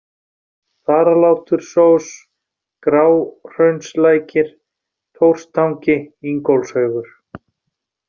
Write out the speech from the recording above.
Þaralátursós, Gráhraunslækir, Thorstangi, Ingólfshaugur